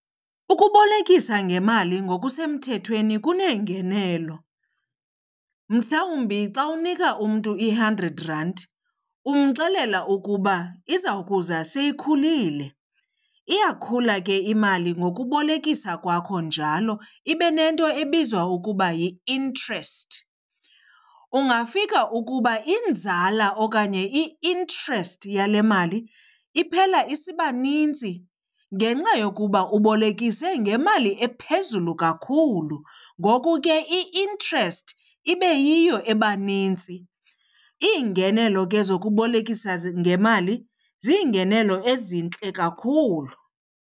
Ukubolekisa ngemali ngokusemthethweni kuneengenelo. Mhlawumbi xa unika umntu i-hundred rand umxelela ukuba iza kuza seyikhulile. Iyakhula ke imali ngokubolekisa kwakho njalo ibe nento ebizwa ukuba yi-interest. Ungafika ukuba inzala okanye i-interest yale mali iphela isiba nintsi ngenxa yokuba ubolekise ngemali ephezulu kakhulu, ngoku ke i-interest ibe yiyo ebanintsi. Iingenelo ke zokubolekisa ngemali ziyingenelo ezintle kakhulu.